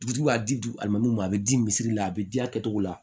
Dugutigi b'a di ma a bɛ di misiri la a bɛ diya kɛ cogo la